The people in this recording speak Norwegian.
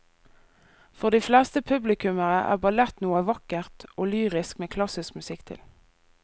For de fleste publikummere er ballett noe vakkert og lyrisk med klassisk musikk til.